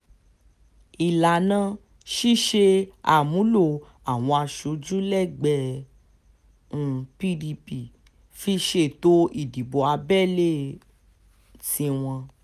ìlànà ṣíṣe àmúlò àwọn aṣojú lẹ́gbẹ́ um pdp fi ṣètò ìdìbò abẹ́lé um tiwọn